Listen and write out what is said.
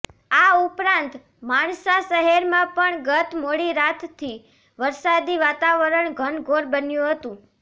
આ ઉપરાંત માણસા શહેરમાં પણ ગત મોડી રાતથી વરસાદી વાતાવરણ ઘનઘોર બન્યુ હતું